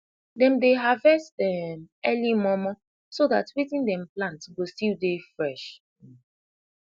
dem dey harvestt um earli momo so dat wetin dem plant go stil dey fresh um